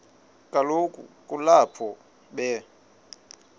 kaloku kulapho be